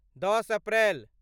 दस अप्रैल